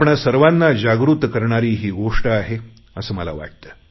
आम्हा सर्वांना जागृत करणारी ही गोष्ट आहे असे मला वाटते